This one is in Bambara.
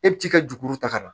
E bɛ t'i ka juru ta ka na